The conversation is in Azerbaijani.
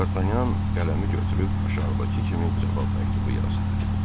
Dartanyan qələmi götürüb aşağıdakı kimi cavab məktubu yazdı: